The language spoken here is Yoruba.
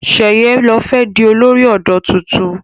Sheye ló fé di olórí odò títún